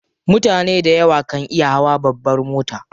Mutane dayawa kan iya hawa babbar mota.